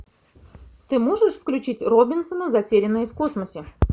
ты можешь включить робинсоны затерянные в космосе